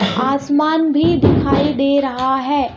आसमान भी दिखाई दे रहा है.